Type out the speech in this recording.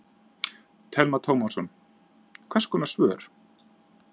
Telma Tómasson: Hvers konar svör?